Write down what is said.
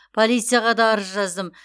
полицияға да арыз жаздым